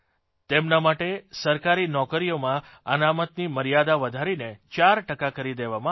તેમના માટે સરકારી નોકરીઓમાં અનામતની મર્યાદા વધારીને 4 ટકા કરી દેવામાં આવી છે